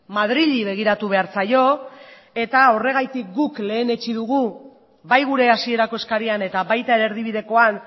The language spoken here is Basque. madrili begiratu behar zaio eta horregatik guk lehenetsi dugu bai gure hasierako eskarian eta baita ere erdibidekoan